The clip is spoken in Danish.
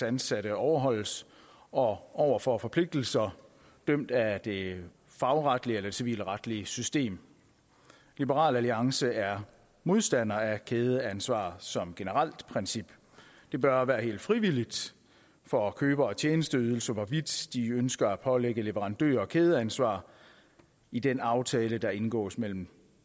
ansatte overholdes og over for forpligtelser dømt af det fagretlige eller civilretlige system liberal alliance er modstander af kædeansvar som generelt princip det bør være helt frivilligt for køber af tjenesteydelser hvorvidt de ønsker at pålægge leverandører kædeansvar i den aftale der indgås mellem